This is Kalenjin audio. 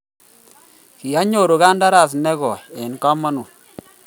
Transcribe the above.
kianyoru kandaras ne gooi eng' kamounito